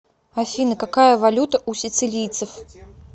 афина какая валюта у сицилийцев